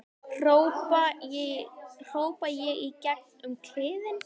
hrópa ég í gegn um kliðinn.